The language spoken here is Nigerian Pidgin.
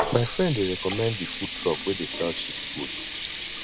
my friend dey recommend di food truck wey dey sell cheap food